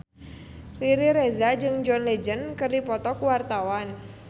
Riri Reza jeung John Legend keur dipoto ku wartawan